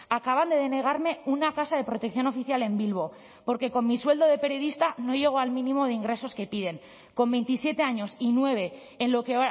acaban de denegarme una casa de protección oficial en bilbo porque con mi sueldo de periodista no llegó al mínimo de ingresos que piden con veintisiete años y nueve en lo que